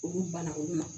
U banna olu ma